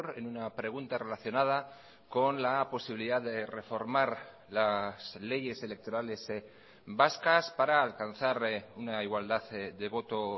en una pregunta relacionada con la posibilidad de reformar las leyes electorales vascas para alcanzar una igualdad de voto